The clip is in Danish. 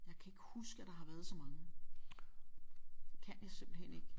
Jeg kan ikke huske at der har været så mange det kan jeg simpelthen ikke